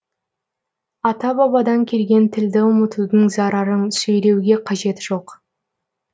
ата бабадан келген тілді ұмытудың зарарын сөйлеуге қажет жоқ